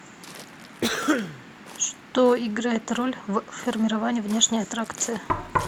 что играет роль в формировании внешней аттракции